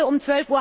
Heute um